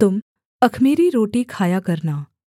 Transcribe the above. तुम अख़मीरी रोटी खाया करना